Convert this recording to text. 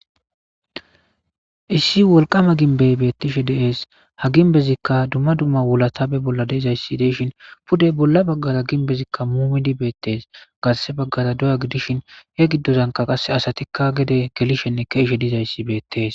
issi wolqama ginbey beettishe deees ha ginbezikka dumma dumma wulatabe bolla deezayssi deshin pudey bolla baggara ginbezikka muumidi beettees gasse baggara doya gidishin he giddozanka qasse asatikka gede gelishenne keishe dizayssi beettees